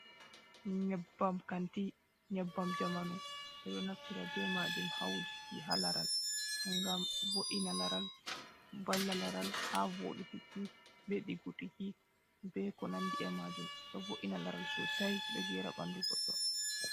Nyebbam kanti, nyebbam jamanu. Ɓeɗo naftira ɓe majum ha wujiki ha laral. Ngam bo'ina laral, valla laral ha voditiki, ɓe ɗiggutiki, ɓe ko nandi e majum. Ɗo bo’ina laral sosai ɗo geera bandu goɗɗo.